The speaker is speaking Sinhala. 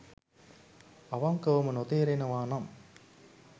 අවංකවම නොතේරෙනවා නම්